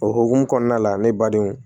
O hokumu kɔnɔna la ne badenw